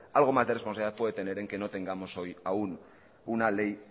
algo más de responsabilidad puede tener el que no tengamos hoy aun una ley